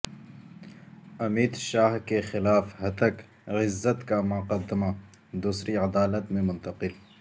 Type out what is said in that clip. امیت شاہ کے خلاف ہتک عزت کا مقدمہ دوسری عدالت میں منتقل